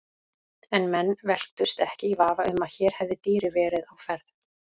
En menn velktust ekki í vafa um að hér hefði dýrið verið á ferð.